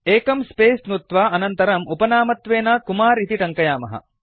एकं स्पेस नुत्वा अनन्तरम् उपनामत्वेन कुमार इति टङ्कयामः